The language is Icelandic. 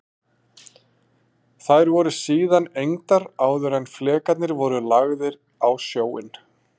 Þær voru síðan egndar áður en flekarnir voru lagðir á sjóinn.